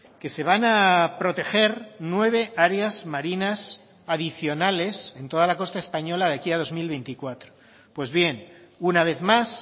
que se van a proteger nueve áreas marinas adicionales en toda la costa española de aquí a dos mil veinticuatro pues bien una vez más